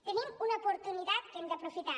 tenim una oportunitat que hem d’aprofitar